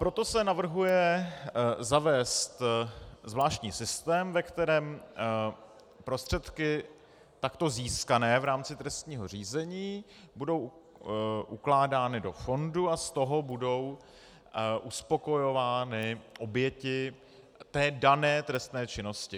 Proto se navrhuje zavést zvláštní systém, ve kterém prostředky takto získané v rámci trestního řízení budou ukládány do fondu a z toho budou uspokojovány oběti té dané trestné činnosti.